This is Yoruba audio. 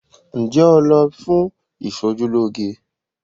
Ǹjẹ́ o lọ b fún ìṣojúlóge?